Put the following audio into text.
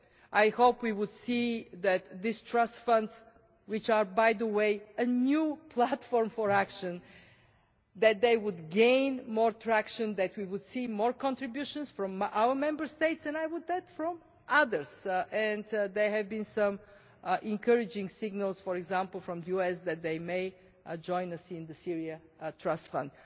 I hope we will see that these trust funds which are, by the way, a new platform for action will gain more traction and that we will see more contributions from our Member States and, I would also say, from others. There have been some encouraging signals, for example from the US, that they may now join us in the Syria Trust Fund